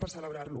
per celebrar lo